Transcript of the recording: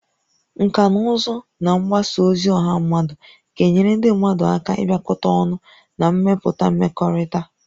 Nkà na ụzụ na mgbasa ozi ọha mmadụ ga-enyere ndị mmadụ aka ịbịakọta ọnụ na ịmepụta mmekọrịta